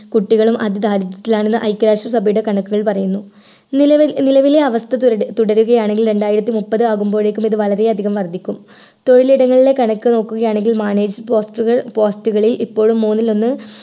കുട്ടികളും അതി ദാരിദ്ര്യത്തിൽ ആണെന്ന് ഐക്യരാഷ്ട്രസഭയുടെ കണക്കുകൾ പറയുന്നു നിലവിൽ നിലവിലെ അവസ്ഥ തുരടു തുടരുകയാണെങ്കിൽ രണ്ടായിരത്തിമുപ്പത് ആകുമ്പോഴേക്കും ഇത് വളരെയധികം വർദ്ധിക്കും തൊഴിലിടങ്ങളിലെ കണക്കു നോക്കുകയാണെങ്കിൽ manage poster കൾ post കളിൽ ഇപ്പോഴും മൂന്നിലൊന്ന്